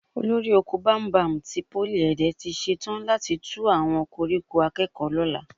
Olórí oko bámúbamù ti Pólì Ẹ̀dẹ tí ṣetán láti tú àwọn koríko akẹ́kọ̀ọ́ lọ́la